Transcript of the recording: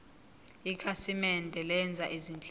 ikhasimende lenza izinhlelo